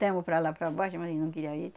Temos para lá e para baixo, mas não queria ir.